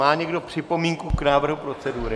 Má někdo připomínku k návrhu procedury?